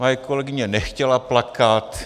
Moje kolegyně nechtěla plakat.